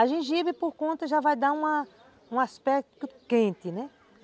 A gengibre, por conta, já vai dar uma um aspecto quente, né?